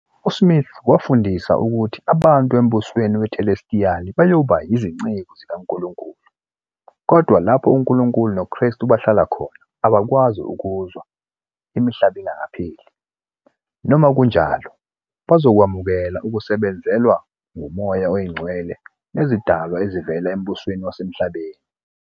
USmith wafundisa ukuthi abantu embusweni wethelestiyali bayoba yizinceku zikaNkulunkulu, kodwa "lapho uNkulunkulu noKristu bahlala khona abakwazi ukuza, imihlaba engapheli", noma kunjalo, bazokwamukela ukusebenzelwa nguMoya oNgcwele nezidalwa ezivela embusweni wasemhlabeni.